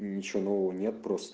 ничего нового нет просто